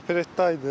Opertda idi.